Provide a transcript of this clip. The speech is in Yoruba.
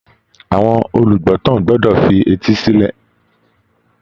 Àwọn olùgbọ́tàn gbọ́dọ̀ fi etí sílẹ̀